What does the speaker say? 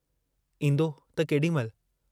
ईन्दो त केडी महिल?